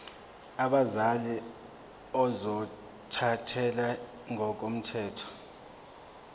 abazali ozothathele ngokomthetho